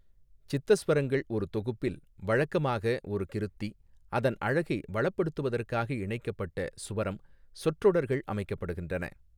சித்தஸ்வரங்கள் ஒரு தொகுப்பில், வழக்கமாக ஒரு கிருத்தி, அதன் அழகை வளப்படுத்துவதற்காக இணைக்கப்பட்ட சுவரம் சொற்றொடர்கள் அமைக்கப்படுகின்றன.